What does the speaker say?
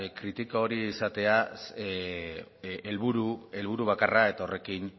kritika hori izatea helburu bakarra eta